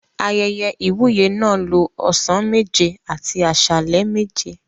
Ayẹyẹ ìwúyè náà lo ọ̀sán méje àti àsálẹ́ méje.